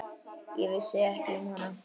Ég vissi ekki um hana.